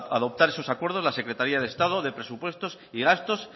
adoptar esos acuerdos la secretaría de estado de presupuestos y gastos